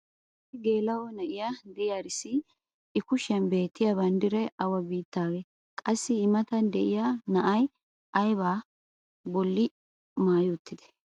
issi geela'o na'iya diyaarissi i kushiyan beetiya banddiray awa biittaagee? qassi i matan diya na"ay ayba ba boli maayi uttidee?